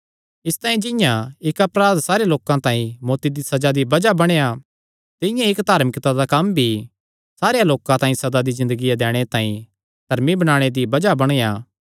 इसतांई जिंआं इक्क अपराध सारे लोकां तांई मौत्ती दी सज़ा दी बज़ाह बणेया तिंआं ई इक्क धार्मिकता दा कम्म भी सारेयां लोकां तांई सदा दी ज़िन्दगिया दैणे तांई धर्मी बणाणे दी बज़ाह बणेया